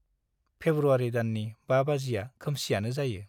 फेब्रुवारी दाननि 5 बाजिया खोमसियानो जायो ।